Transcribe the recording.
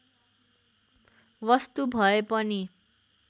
वस्तु भएपनि